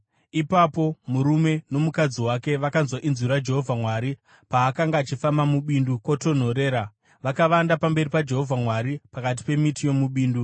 Ipapo murume nomukadzi wake vakanzwa inzwi raJehovha Mwari paakanga achifamba mubindu kwotonhorera, vakavanda pamberi paJehovha Mwari, pakati pemiti yomubindu.